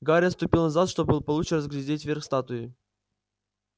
гарри отступил назад чтобы получше разглядеть верх статуи